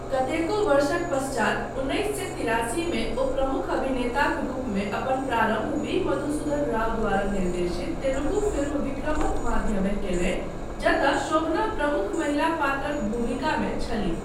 कतेको वर्षक पश्चात उन्नैस सए तिरासीमे ओ प्रमुख अभिनेताक रूपमे अपन प्रारम्भ वी. मधुसूदन राव द्वारा निर्देशित तेलुगु फिल्म विक्रमक माध्यमे कयलनि जतय शोभना प्रमुख महिला पात्रक भूमिकामे छलीह।